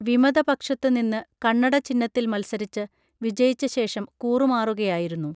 വിമത പക്ഷത്ത് നിന്ന് കണ്ണട ചിഹ്നത്തിൽ മൽസരിച്ച് വിജയിച്ച ശേഷം കൂറുമാറുകയായിരുന്നു